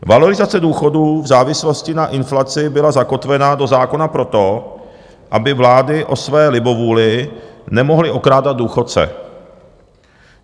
Valorizace důchodů v závislosti na inflaci byla zakotvena do zákona proto, aby vlády o své libovůli nemohly okrádat důchodce.